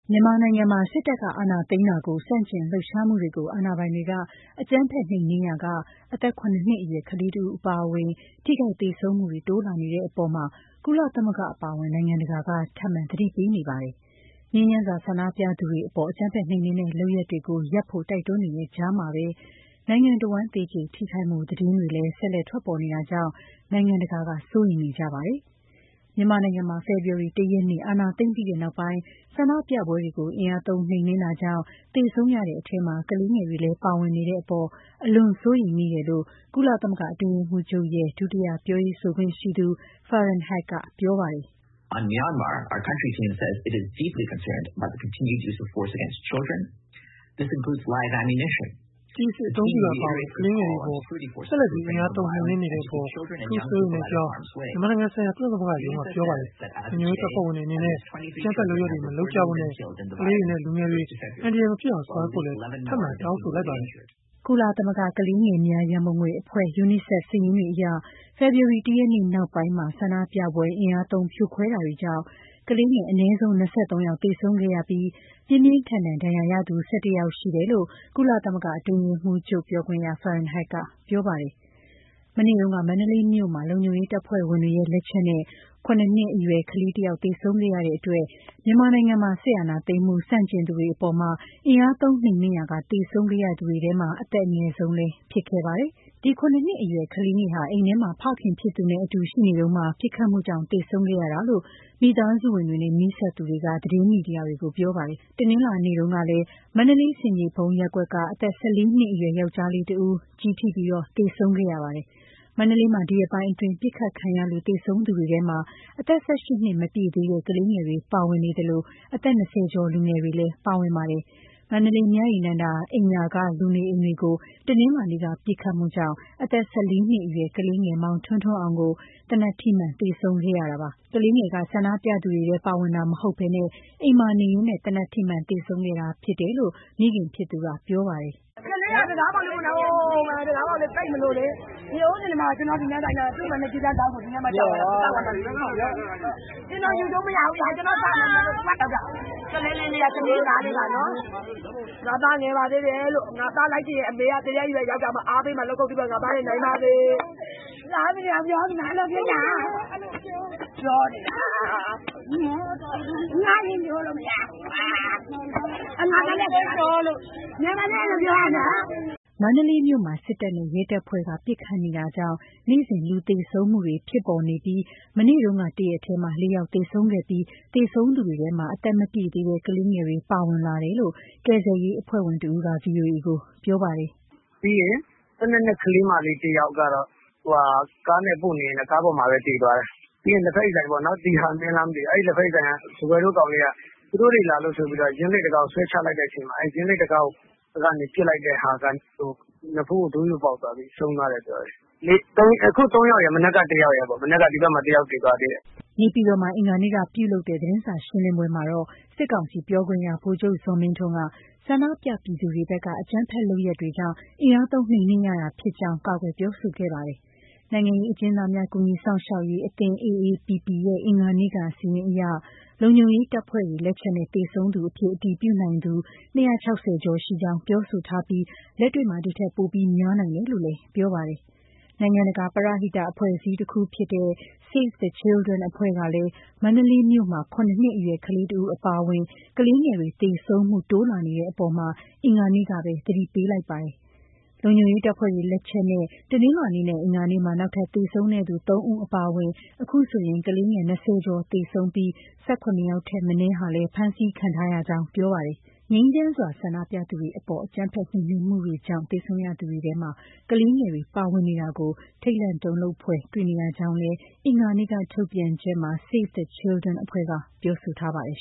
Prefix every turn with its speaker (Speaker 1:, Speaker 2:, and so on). Speaker 1: မြန်မာနိုင်ငံမှာ စစ်တပ်က အာဏာသိမ်းတာကို ဆန့်ကျင်လှုပ်ရှားမှုတွေကို အာဏာပိုင်တွေ အကြမ်းဖက် နှိမ်နင်းရာက အသက် ၇ နှစ်အရွယ် ကလေးတဦး အပါအဝင် ထိခိုက်သေဆုံးမှုတွေ တိုးလာနေတဲ့အပေါ် ကုလသမဂ္ဂ အပါအဝင် နိုင်ငံတကာက ထပ်မံသတိပေး နေပါတယ်။ ငြိမ်းချမ်းစွာ ဆန္ဒပြသူတွေအပေါ် အကြမ်းဖက် နှိမ်နင်းတဲ့ လုပ်ရပ်တွေကိုရပ်ဖို့ တိုက်တွန်းနေတဲ့ ကြားမှာပဲ နိုင်ငံအဝန်း သေကျေထိခိုက်မှု သတင်းတွေလည်း ဆက်လက် ထွက်ပေါ်နေတာကြောင့် နိုင်ငံတကာက စိုးရိမ်နေကြတာပါ။ ဒီအကြောင်း မမြသဇင်အောင်က ပြောပြမှာပါ။ မြန်မာနိုင်ငံမှာ ဖေဖော်ဝါရီလ ၁ ရက်နေ့ အာဏာသိမ်းပြီးနောက်ပိုင်း ဆန္ဒပြပွဲတွေကို အင်အားသုံးနှိမ်နှင်းတာကြောင့် သေဆုံးရတဲ့အထဲ ကလေးငယ်တွေလည်း ပါဝင်နေတဲ့အပေါ် အလွန်စိုးရိမ်မိတယ်လို့ ကုလသမဂ္ဂ အတွင်းရေးမှူးချုပ်ရဲ့ ဒုတိယ ပြောရေးဆိုခွင့်ရှိသူ Farhan Haq က ပြောပါတယ်။ “ကျည်အစစ် အသုံးပြုတာ အပါအဝင် ကလေးငယ်တွေ အပေါ် ဆက်လက်ပြီး အင်အားသုံးနှိမ်နင်းနေတဲ့အပေါ် အထူးစိုးရိမ်ကြောင်း မြန်မာဆိုင်ရာ ကုလသမဂ္ဂရုံးက ပြောပါတယ်။ လုံခြုံရေးတပ်ဖွဲ့တွေ အနေနဲ့ အကြမ်းဖက် လုပ်ရပ်တွေ မလုပ်ကြဖို့နဲ့ ကလေးတွေနဲ့ လူငယ်တွေ အန္တရာယ်မဖြစ်အောင် ဆောင်ရွက်ဖို့လည်း ထပ်မံတောင်းဆိုလိုက်ပါတယ်။” ကုလသမဂ္ဂ ကလေးငယ်များ ရန်ပုံငွေအဖွဲ့ UNICEF စာရင်းတွေအရ ဖေဖော်ဝါရီ ၁ ရက်နေ့ နောက်ပိုင်း ဆန္ဒပြပွဲအင်အားသုံး ဖြိုခွဲတာတွေကြောင့် ကလေးငယ် အနည်းဆုံး ၂၃ ယောက် သေဆုံးခဲ့ရပြီး ပြင်းပြင်းထန်ထန်ဒဏ်ရာရသူ ၁၁ ယောက်ရှိကြောင်းလည်း ကုလသမဂ္ဂ အတွင်းရေးမှူးချုပ် ပြောခွင့်ရ Farhan Haq ကပြောပါတယ်။ မနေ့တုန်းက မန္တလေးမြို့မှာ လုံခြုံရေးတပ်ဖွဲ့ဝင်တွေရဲ့ လက်ချက်နဲ့ ၇ နှစ်အရွယ် ကလေးငယ်တယောက် သေဆုံးခဲ့ရတဲ့အတွက် မြန်မာနိုင်ငံမှာ စစ်အာဏာသိမ်းမှု ဆန့်ကျင်သူတွေအပေါ် အင်အားသုံးနှိမ်နှင်းရာက သေဆုံးခဲ့ရသူတွေထဲ အသက်အငယ်ဆုံး လည်း ဖြစ်ခဲ့ပါတယ်။ ၇ နှစ်အရွယ် ကလေးငယ်ဟာ အိမ်ထဲမှာ ဖခင်ဖြစ်သူနဲ့အတူ ရှိနေတုန်း ပစ်ခတ်မှုကြောင့် သေဆုံးခဲ့ရတာလို့လည်း မိသားစုဝင်တွေနဲ့ နီးစပ်သူတွေက သတင်းမီဒီယာတွေကို ပြောပါတယ်။ တနင်္လာနေ့တုန်းကလည်း မန္တလေး ဆင်ခြေဖုံး ရပ်ကွက်က အသက် ၁၄ နှစ် အရွယ် ယောင်္ကျားလေး တဦး ကျည်ထိ သေဆုံးခဲ့ရပါတယ်။ မန္တလေးမှာ ဒီရက်ပိုင်းအတွင်း ပစ်ခတ်ခံရလို့ သေဆုံးသူတွေထဲမှာ အသက် ၁၈ နှစ်မပြည့်သေးတဲ့ ကလေးငယ်တွေ ပါဝင်နေလို အသက် ၂၀ ကျော်လူငယ်တွေလည်း ပါဝင်ပါတယ်။ မန္တလေး မြရည်နန္ဒာအိမ်ယာက လူနေအိမ်တွေကို တနင်္လာနေ့က ပစ်ခတ်မှုကြောင့် အသက် ၁၄ နှစ်အရွယ် ကလေးငယ် မောင်ထွန်းထွန်းအောင် ကို သေနတ်ထိမှန်သေဆုံးခဲ့ရတာပါ။ ကလေးငယ်က ဆန္ဒပြသူတွေထဲပါဝင်တာ မဟုတ်ဘဲ အိမ်မှာနေရင်း သေနတ်ထိမှန် သေဆုံးခဲ့တာဖြစ်တယ်လို့ မိခင်ဖြစ်သူကပြောပါတယ်။ “ကလေးက တံခါးပေါက်လေး ပိတ်မလို့လေ ၊ ကျနော်ယူကျုံးမရဘူးလေ။ ကလေးလေးက စနေသားလေးပါနော်။ ငါ့သားငယ်ပါသေးတယ် ငါ့သားလိုက်ချင်ရင် အမေက သေတဲ့ အရွယ်ရောက်မှ လက်ခုပ်တီး အားပေးမယ်လို့ ငါသားရေ နိုင်ပါစေလို့။ သားအမိ ၂ ယောက် နှမြှောတယ် ပြောနေတာ။ငါရင်ကျိုးလို့ ပြောနေတယ်၊ ငယ်ပါသေးတယ်လို့ ပြောတာ။” မန္တလေးမြို့မှာ စစ်တပ်နဲ့ရဲတပ်ဖွဲ့က ပစ်ခတ်နေတာကြောင့် နေ့စဉ်လူသေဆုံးမှုတွေ ဖြစ်ပေါ်နေပြီး မနေ့တုန်းက တရက်ထဲ မှာ ၄ ယောက်သေဆုံးပြီး သေဆုံးသူတွေထဲမှာ အသက်မပြည့်သေးတဲ့ ကလေးငယ်တွေ ပါဝင်လာတယ်လို့ ကယ်ဆယ်ရေးအဖွဲ့ဝင် တဦးက ဗွီအိုအေကို ပြောပါတယ်။ “၁၂ နှစ် ကလေးမလေးတယောက်က ကားနဲ့ပို့နေရင်း ကားပေါ်မှာပဲသေသွားတယ်။ ပြီးရင် လဖက်ရည်ဆိုင်ပေါ့နော် သီဟမင်းလားမသိဘူး အဲ့လဖက်ရည်ဆိုင်က ကောင်လေးက သူတို့တွေ လာလို့ဆိုပြီး ယင်းလိတ်တံခါးကို ဆွဲချလိုက်တဲ့အချိန်မှာ အဲ့ယင်းလိတ်တံခါးကို ပစ်လိုက်တဲ့ဟာက နဖူးကို ဒိုးယိုပေါက်သွားပြီး ဆုံးသွားတယ်။ အခု ၃ ယောက်ရယ် မနက်က ဒီဘက်မှာ တယောက်သေသွားသေးတယ်” နေပြည်တော်မှာ အင်္ဂါနေ့က ပြုလုပ်တဲ့ သတင်းစာရှင်းလင်းပွဲမှာတော့ စစ်ကောင်စီပြောခွင့်ရ ဗိုလ်ချုပ်ဇော်မင်းထွန်းက ဆန္ဒပြပြည်သူတွေဘက်က အကြမ်းဖက်လုပ်ရပ်တွေကြောင့် အင်အားသုံးနှိမ်နှင်းရတာ ဖြစ်ကြောင်း ကာကွယ်ပြောဆိုခဲ့ပါတယ်။ နိုင်ငံရေး အကျဉ်းသားများ ကူညီစောင့်ရှောက်ရေး အသင်း AAPP ရဲ့ အင်္ဂါနေ့က စာရင်းအရ လုံခြုံရေး တပ်ဖွဲ့တွေ လက်ချက်နဲ့ သေဆုံးသူအဖြစ် အတည်ပြုနိုင်သူ ၂၆၀ ကျော်ရှိကြောင်း ပြောဆိုထားပြီး၊ လက်တွေ့မှာ ဒီထက် ပိုများနိုင်တယ်လို့လည်း ပြောပါတယ်။ နိုင်ငံတကာ ပရဟိတ အဖွဲ့အစည်းတခုဖြစ်တဲ့ Save the Children အဖွဲ့ကလည်း မန္တလေးမြို့မှာ ၇ နှစ်အရွယ် ကလေးတဦး အပါအဝင် ကလေးငယ်တွေ သေဆုံးမှုတွေ တိုးလာနေတဲ့အပေါ် အင်္ဂါနေ့မှာပဲ သတိပေးလိုက်ပါတယ်။ လုံခြုံရေးတပ်ဖွဲ့တွေ လက်ချက်နဲ့ တနင်္လာနေ့နဲ့ အင်္ဂါနေ့မှာ နောက်ထပ် သေဆုံးတဲ့ ၃ ဦး အပါအဝင် အခုဆိုရင် ကလေးငယ် ၂၀ ကျော် သေဆုံးပြီး၊ ၁၇ ယောက်ထက် မနည်းဟာလည်း ဖမ်းဆီးခံထားရကြောင်းလည်း ပြောပါတယ်။ ငြိမ်းချမ်းစွာ ဆန္ဒပြသူတွေအပေါ် အကြမ်းဖက် နှိမ်နင်းမှုတွေကြောင့် သေဆုံးရသူတွေထဲမှာ ကလေးငယ်တွေ ပါဝင်နေတာကို ထိတ်လန့်တုန်လှုပ်ဖွယ် တွေ့နေရကြောင်းလည်း အင်္ဂါနေ့က ထုတ်ပြန်ချက်မှာ Save the Children အဖွဲ့က ပြောဆိုထားပါတယ်